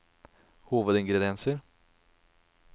hovedingrediensene